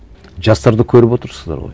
жастарды көріп отырсыздар ғой